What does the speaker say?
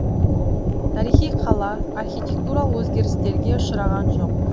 тарихи қала архитектуралық өзгерістерге ұшыраған жоқ